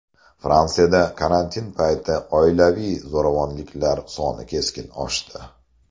Fransiyada karantin payti oilaviy zo‘ravonliklar soni keskin oshdi.